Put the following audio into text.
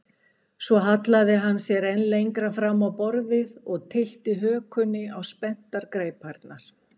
Svo hallaði hann sér enn lengra fram á borðið og tyllti hökunni á spenntar greiparnar.